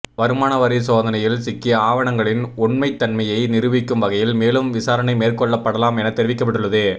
வருமானவரி சோதனையில் சிக்கிய ஆவணங்களின் உண்மைத்தன்மையை நிரூபிக்கும் வகையில் மேலும் விசாரணை மேற்கொள்ளப்படலாம் என தெரிவிக்கப்பட்டுள்ளது